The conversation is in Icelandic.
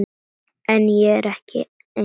En ég er ekki einn.